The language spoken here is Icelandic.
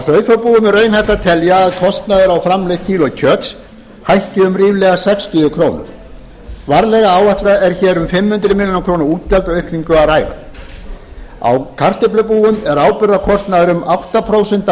sauðfjárbúum er raunhæft að telja að kostnaður á framleitt kíló kjöts hækki um ríflega sextíu krónur varlega áætlað er hér um fimm hundruð milljóna útgjaldaaukningu að ræða á kartöflubúum er áburðarkostnaður um átta prósent af